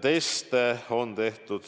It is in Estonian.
Teste on tehtud